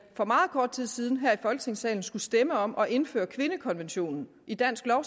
for meget kort tid siden her i folketingssalen skulle stemme om at indføre kvindekonventionen i dansk lov